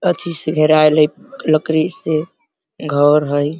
अच्छी से घेराइल हई लकड़ी से। घर हई।